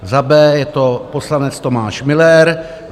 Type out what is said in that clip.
Za B je to poslanec Tomáš Müller.